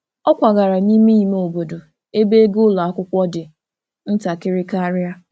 Ọ kwagara n'ime ime obodo ebe ego ụlọ akwụkwọ dị ntakịrị karịa.